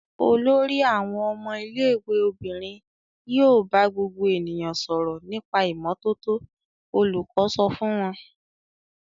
"Olórí àwọn ọmọ ilé-ìwé obìnrin yóò bá gbogbo ènìyàn sọ̀rọ̀ nípa ìmọ́tótó!" Olùkọ́ sọ fún wọn.